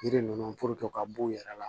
Yiri ninnu ka b'u yɛrɛ la